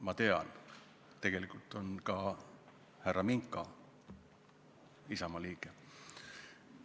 Ma tean, et tegelikult on ka härra Minka Isamaa liige.